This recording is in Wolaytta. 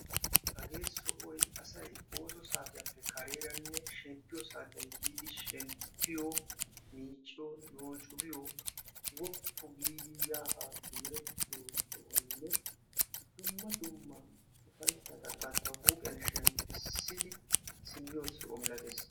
hagee sohoy asay ooso saatiyaappe kareeranne shemppiyoo saatiyaan yiidi shemppiyoo miicciyoo noocu giyoo woppu giidi yaa haa simerettiyoo sohonne dumma dumma ufayssata bantta huuphphiyaa shemppisidi simmiyoo soho malatees.